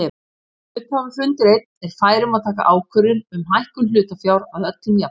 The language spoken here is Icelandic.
Hluthafafundur einn er fær um að taka ákvörðun um hækkun hlutafjár að öllum jafnaði.